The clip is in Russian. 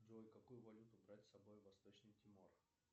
джой какую валюту брать с собой в восточный тимор